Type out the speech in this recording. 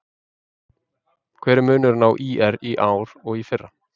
Hver er munurinn á ÍR í ár og í fyrra?